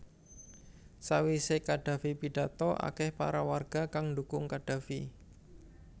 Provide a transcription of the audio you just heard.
Sawise Qaddafi pidhato akeh para warga kang ndukung Qaddafi